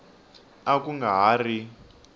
a ku nga ha ri